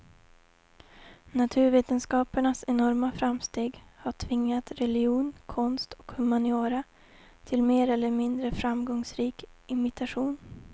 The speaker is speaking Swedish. Naturvetenskapernas enorma framsteg har tvingat religion, konst och humaniora till mer eller mindre framgångsrik imitation.